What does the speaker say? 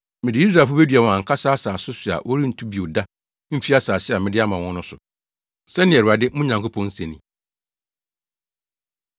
Mede Israelfo bedua wɔn ankasa asase so a wɔrentu bio da mfi asase a mede ama wɔn no so,” sɛnea Awurade, mo Nyankopɔn se ni.